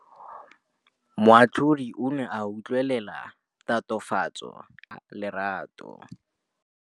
Moatlhodi o ne a utlwelela tatofatsô ya molato wa Lerato.